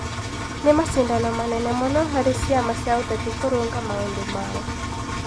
Nĩ macindano manene mũno harĩ ciama cia ũteti kũrũnga maũndũ mao.